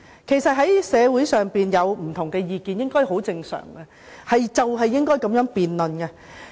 其實社會上有不同意見很正常，也應該如此。